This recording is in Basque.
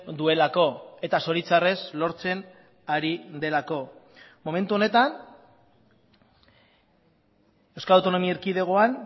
duelako eta zoritxarrez lortzen ari delako momentu honetan euskal autonomi erkidegoan